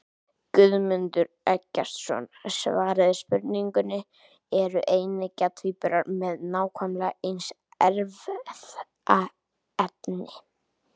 Guðmundur Eggertsson svaraði spurningunni Eru eineggja tvíburar með nákvæmlega eins erfðaefni?